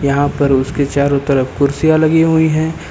यहां पर उसके चारों तरफ कुर्सियां लगी हुई है।